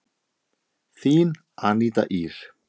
Þín Aníta Ýr.